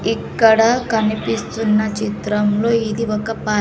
ఇక్కడ కనిపిస్తున్న చిత్రంలో ఇది ఒక పార్--